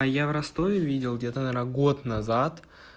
а я в ростове видел где-то наверно год назад